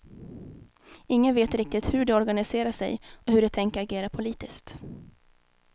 Ingen vet riktigt hur de organiserar sig och hur de tänker agera politiskt.